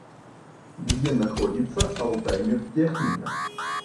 где находится алтаймедтехника